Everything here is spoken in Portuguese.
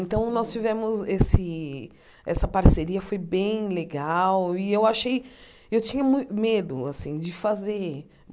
Então, nós tivemos esse... Essa parceria foi bem legal e eu achei... Eu tinha mui medo, assim, de fazer.